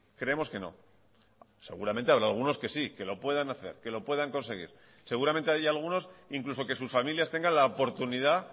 creemos que no seguramente habrá algunos que si que lo puedan hacer que lo puedan conseguir seguramente hay algunos incluso que sus familias tengan la oportunidad